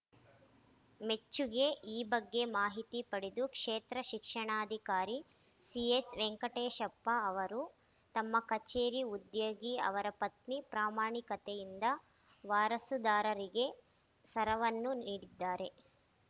ಮೆಚ್ಚುಗೆ ಈ ಬಗ್ಗೆ ಮಾಹಿತಿ ಪಡೆದು ಕ್ಷೇತ್ರ ಶಿಕ್ಷಣಾಧಿಕಾರಿ ಸಿಎಸ್‌ ವೆಂಕಟೇಶಪ್ಪ ಅವರು ತಮ್ಮ ಕಚೇರಿ ಉದ್ಯೋಗಿ ಅವರ ಪತ್ನಿ ಪ್ರಾಮಾಣಿಕತೆಯಿಂದ ವಾರಸುದಾರರಿಗೆ ಸರವನ್ನು ನೀಡಿದ್ದಾರೆ